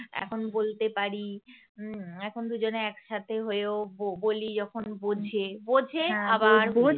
এখন বলতে পারি হুম এখন এখন দুজনে একসাথে হয়েও বলি যখন বোঝে বোঝে আবার